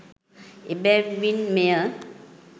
එබැවින් මෙය